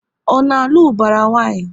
Ọ na alụ ubara nwanyi?